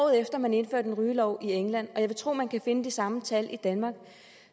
at man indførte en rygelov i england jeg vil tro at man kan finde de samme tal i danmark